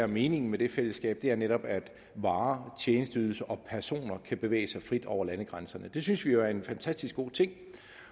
meningen med det fællesskab er netop at varer tjenesteydelser og personer kan bevæge sig frit over landegrænserne det synes vi jo er en fantastisk god ting